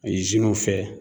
Izinunw fɛ